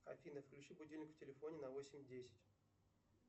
афина включи будильник в телефоне на восемь десять